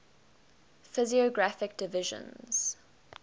physiographic divisions